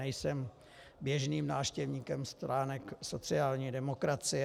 Nejsem běžným návštěvníkem stránek sociální demokracie.